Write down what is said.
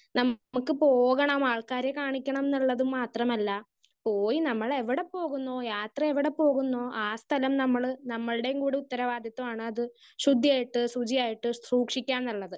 Speaker 1 നമുക്ക് പോകണം ആൾക്കാരെ കാണിക്കണം എന്നുള്ളത് മാത്രമല്ല. പോയി നമ്മളെവിടെ പോകുന്നു യാത്ര എവിടെ പോകുന്നു ആ സ്ഥലം നമ്മള് നമ്മൾടേം കൂടി ഉത്തരവാദിത്വമാണത്. ശുദ്ധിയായിട്ട് ശുചിയായിട്ട് സൂക്ഷിക്കാ എന്നുള്ളത്.